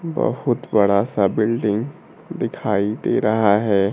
बहुत बड़ा सा बिल्डिंग दिखाई दे रहा है।